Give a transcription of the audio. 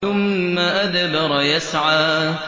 ثُمَّ أَدْبَرَ يَسْعَىٰ